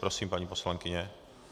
Prosím, paní poslankyně.